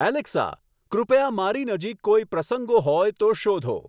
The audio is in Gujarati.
એલેક્સા કૃપયા મારી નજીક કોઈ પ્રસંગો હોય તો શોધો